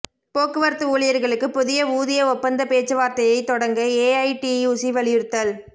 போக்குவரத்து ஊழியா்களுக்கு புதிய ஊதிய ஒப்பந்த பேச்சுவாா்த்தையை தொடங்க ஏஐடியுசி வலியுறுத்தல்